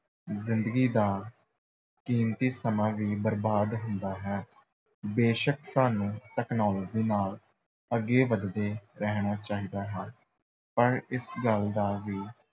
ਜ਼ਿੰਦਗੀ ਦਾ ਕੀਮਤੀ ਸਮਾਂ ਵੀ ਬਰਬਾਦ ਹੁੰਦਾ ਹੈ, ਬੇਸ਼ੱਕ ਸਾਨੂੰ technology ਨਾਲ ਅੱਗੇ ਵਧਦੇ ਰਹਿਣਾ ਚਾਹੀਦਾ ਹੈ ਪਰ ਇਸ ਗੱਲ ਦਾ ਵੀ